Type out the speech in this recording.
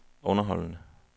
underholdende